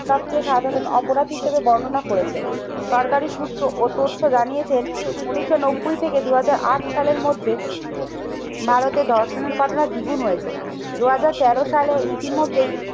সবচেয়ে সাধারণ অপরাধী হিসেবে বর্ণনা করেছেন। সরকারি সূত্র ও তথ্য জানিয়েছেন উন্নিশশো নব্বই থেকে দুই হাজার আট সালের মধ্যে ভারতে ধর্ষণের ঘটনা দ্বিগুণ হয়েছে। দুই হাজার তেরো সালে ইতিমধ্যে